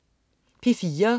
P4: